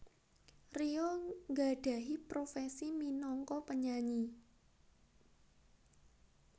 Rio nggadhahi profesi minangka penyanyi